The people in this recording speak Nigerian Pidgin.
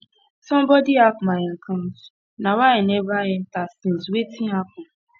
somebody hack my account na why why i never enter since wetin happen